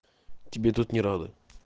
тебе тут не рады